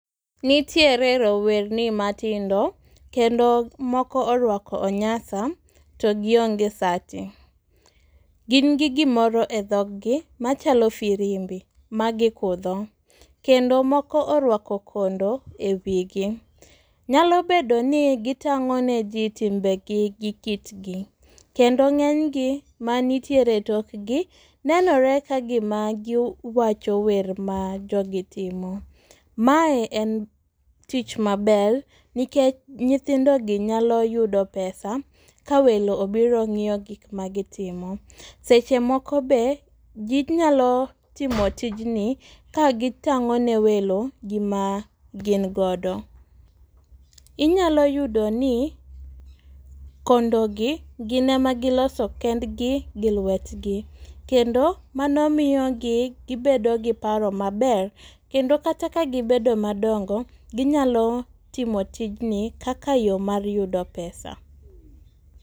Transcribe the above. Nitiere rowerni matindo , kendo moko orwako onyasa to gionge sati. Gin gi gimoro edhoggi machalo firimbi magikudho kendo moko orwako kondo e wigi. Nyalo bedo ni gitang'o ne jii timbegi gi kitgi. Kendo ng'enygi manitiere e tokgi, nenore ka gima giwacho wer ma jogi timo. Mae en tich maber , nikech nyithindogi nyalo yudo pesa, ka welo obiro ng'iyo gik ma gitimo. Seche moko be, ginyalo timo tijni, ka gitang'o ne welo gima gin godo. Inyalo yudo ni kondogi gin ema giloso kendgi gi lwetgi. Kendo mano miyogi gibedo gi paro maber, kendo kata ka gibedo madongo ginyalo timo tijni kaka yoo mar yudo pesa.